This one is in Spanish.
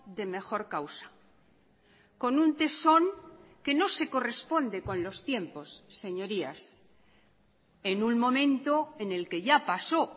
de mejor causa con un tesón que no se corresponde con los tiempos señorías en un momento en el que ya pasó